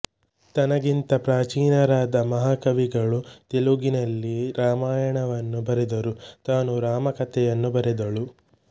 ತನಗಿಂತ ಪ್ರಾಚೀನರಾದ ಮಹಾಕವಿಗಳು ತೆಲುಗಿನಲ್ಲಿ ರಾಮಾಯಣವನ್ನು ಬರೆದರೂ ತಾನೂ ರಾಮಕಥೆಯನ್ನು ಬರೆದಳು